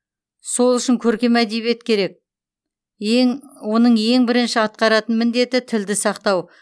сол үшін көркем әдебиет керек ең оның ең бірінші атқаратын міндеті тілді сақтау